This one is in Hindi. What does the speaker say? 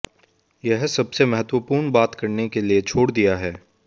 यह सबसे महत्वपूर्ण बात करने के लिए छोड़ दिया है